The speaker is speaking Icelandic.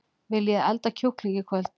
Viljiði elda kjúkling í kvöld?